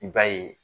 I b'a ye